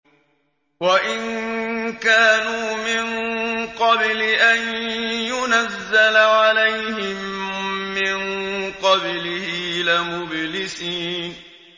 وَإِن كَانُوا مِن قَبْلِ أَن يُنَزَّلَ عَلَيْهِم مِّن قَبْلِهِ لَمُبْلِسِينَ